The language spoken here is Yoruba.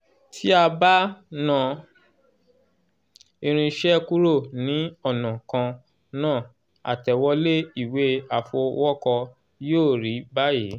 tí a bá "ná" irinṣẹ́ kúrò ní ọ̀nà kan náà àtẹ̀wolé ìwé àfọwọ́kọ yóò rí báyìí